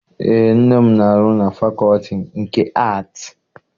Eé, nne m na- arụ na fakọọtị nke Aatị.